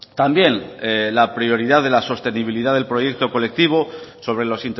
también la prioridad de la sostenibilidad del proyecto colectivo sobre los